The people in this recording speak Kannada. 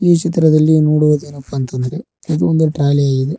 ಈ ಚಿತ್ರದಲ್ಲಿ ನೋಡುವುದೇನಪ್ಪ ಅಂತಂದರೆ ಅದು ಒಂದು ಟ್ರಾಲಿ ಆಗಿದೆ.